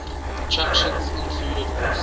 attractions included horse